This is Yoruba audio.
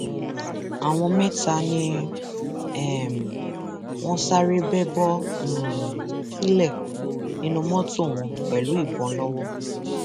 àwọn mẹta ni um wọn sáré bẹ bọ um sílẹ nínú mọtò wọn pẹlú ìbọn lọwọ